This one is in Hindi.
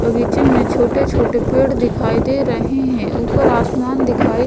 बगीचे में छोटे-छोटे पेड़ दिखाई दे रहे हैं ऊपर आसमान दिखाई --